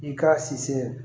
I k'a siri